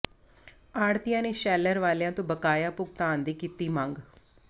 ਆੜ੍ਹਤੀਆਂ ਨੇ ਸ਼ੈਲਰ ਵਾਲਿਆਂ ਤੋਂ ਬਕਾਇਆ ਭੁਗਤਾਨ ਦੀ ਕੀਤੀ ਮੰਗ